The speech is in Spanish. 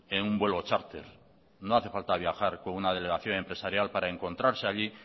en un vuelo charter no hace falta viajar con una delegación empresarial para encontrarse allí